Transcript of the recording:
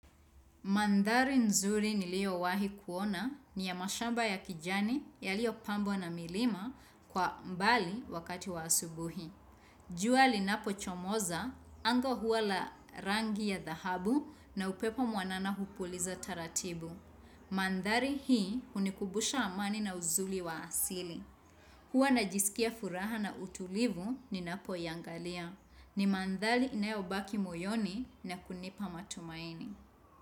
Mandhari nzuri niliyo wahi kuona ni ya mashamba ya kijani yaliyopambwa na milima kwa mbali wakati wa asubuhi. Jua linapochomoza, anga huwa la rangi ya dhahabu na upepo mwanana hupuliza taratibu. Mandhari hii hunikumbusha amani na uzuri wa asili. Huwa najisikia furaha na utulivu ninapoiangalia. Ni mandhari inayobaki moyoni na kunipa matumaini.